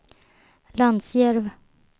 Lansjärv